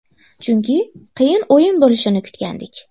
Chunki qiyin o‘yin bo‘lishini kutgandik.